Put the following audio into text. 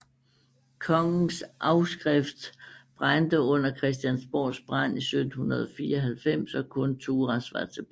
Kongens afskrift brændte under Christiansborgs brand 1794 og kun Thurahs var tilbage